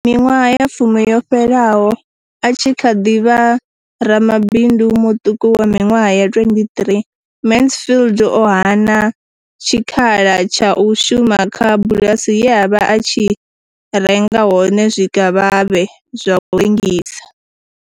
Miṅwaha ya fumi yo fhiraho, a tshi kha ḓi vha ramabindu muṱuku wa miṅwaha ya 23, Mansfield o hana tshikhala tsha u shuma kha bulasi ye a vha a tshi renga hone zwikavhavhe zwa u rengisa.